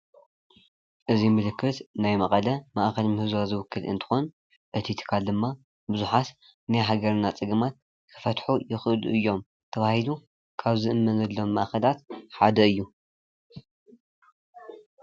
እዚ ምልክት ናይ መቐለ ማእከልን ምህዞን ዝውክል እንትኾን እቲ ትካል ድማ ብዙሓት ናይ ሃገርና ጸገማት ክፈትሑ ይኽእሉ እዮም ተባሂሉ ካብ ዝእመነሎም ነገራት ሓደ እዩ።